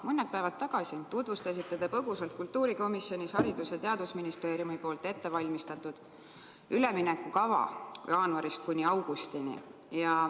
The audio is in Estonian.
Mõned päevad tagasi tutvustasite te põgusalt kultuurikomisjonis Haridus- ja Teadusministeeriumis ette valmistatud üleminekukava jaanuarist kuni augustini.